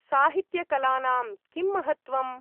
साहित्यकलानां किं महत्त्वम् ?